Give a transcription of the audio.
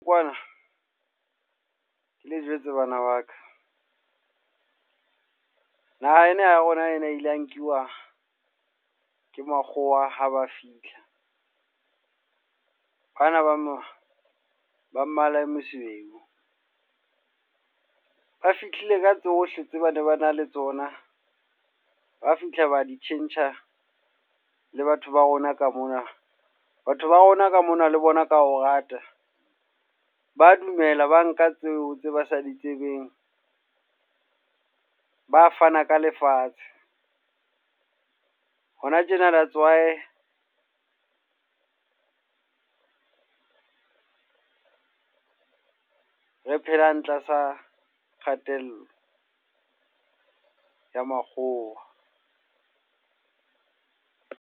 Kwana, le jwetse bana ba ka. Naha ena ya rona ena e ile ya nkuwa ke makgowa haba fihla. Bana ba mo ba mmala o mosweu. Ba fihlile ka tsohle tse ba ne ba na le tsona, ba fihla ba di tjhentjha le batho ba rona ka mona. Batho ba rona ka mona le bona ka ho rata. Ba dumela ba nka tseo tse ba sa di tsebeng, ba fana ka lefatshe. hona tjena that's why re phelang tlasa kgatello, ya makgowa.